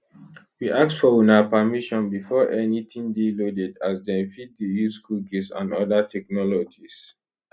we ask for una permission before anytin dey loaded as dem fit dey use cookies and oda technologies